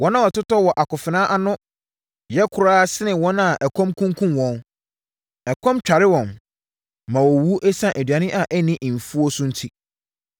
Wɔn a wɔtotɔ wɔ akofena ano no yɛ koraa sene wɔn a ɛkɔm kunkumm wɔn; ɛkɔm tware wɔn, ma wɔwuwu ɛsiane aduane a ɛnni mfuo so enti.